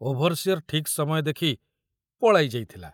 Overseer ଠିକ ସମୟ ଦେଖି ପଳାଇ ଯାଇଥିଲା।